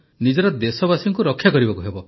ନିଜର ଦେଶବାସୀଙ୍କୁ ରକ୍ଷା କରିବାକୁ ହେବ